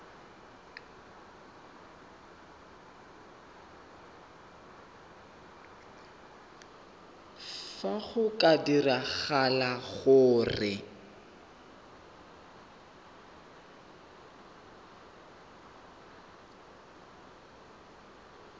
fa go ka diragala gore